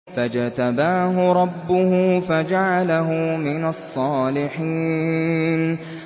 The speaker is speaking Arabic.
فَاجْتَبَاهُ رَبُّهُ فَجَعَلَهُ مِنَ الصَّالِحِينَ